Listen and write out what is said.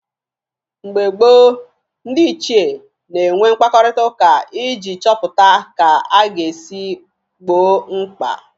Mgbe gboo, ndị ichie na-enwe mkparịtaụka iji chọpụta ka a ga-esi gboo mkpa